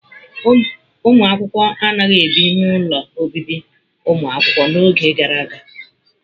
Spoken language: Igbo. Ụmụ akwụkwọ anaghị ebi n'ụlọ obibi ụmụakwụkwọ n'oge gara aga.